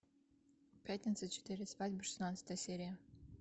пятница четыре свадьбы шестнадцатая серия